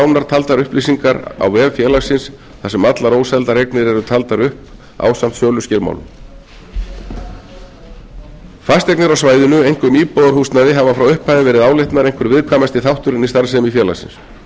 í nánar taldar upplýsingar á vef félagsins þar sem allar óseldar eignir eru taldar upp ásamt söluskilmálum fasteignir á svæðinu einkum íbúðarhúsnæði hafa frá upphafi verið álitnar einhver viðkvæmasti þátturinn í starfsemi félagsins ástæðan